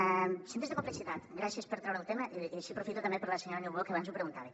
els centres de complexitat gràcies per treure el tema i així aprofito també per la senyora niubó que abans ho preguntava